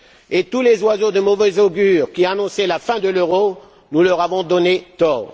Et tous les oiseaux de mauvaise augure qui annonçaient la fin de l'euro, nous leur avons donné tort.